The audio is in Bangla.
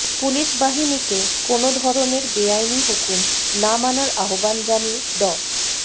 পুলিশ বাহিনীকে কোনো ধরনের বেআইনি হুকুম না মানার আহ্বান জানিয়ে ড